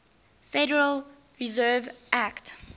federal reserve act